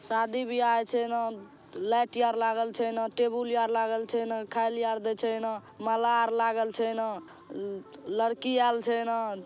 शादी बियाह छै ना। लाइट यार छै ना। टेबुल यार लागल छै ना खायले आर दे छै ना। माला आर लागल छै ना। लड़की अऐल छै ना।